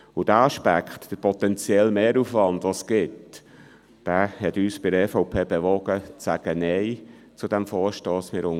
Der Aspekt des potenziellen Mehraufwands hat uns von der EVP dazu bewogen, zu diesem Vorstoss Nein zu sagen.